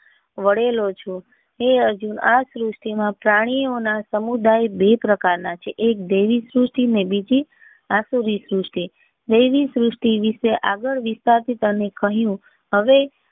વળેલો છે હે અર્જુન આ પૃથ્વી ના પ્રાણી ઓ ના સમુદાય બે પ્રકાર ના છે એક દેવી સૃષ્ટિ ને બીજી આસુરી સૃષ્ટિ દેવી સૃષ્ટિ વિશે આગળ વિચારતા કહ્યું હવે.